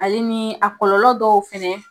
Ale ni a kɔlɔlɔ dɔw fɛnɛ.